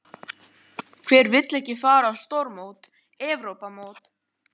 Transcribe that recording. Hver vill ekki fara á stórmót, EM?